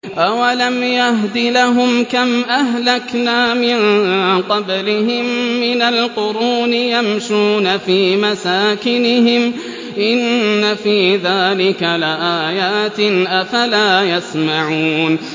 أَوَلَمْ يَهْدِ لَهُمْ كَمْ أَهْلَكْنَا مِن قَبْلِهِم مِّنَ الْقُرُونِ يَمْشُونَ فِي مَسَاكِنِهِمْ ۚ إِنَّ فِي ذَٰلِكَ لَآيَاتٍ ۖ أَفَلَا يَسْمَعُونَ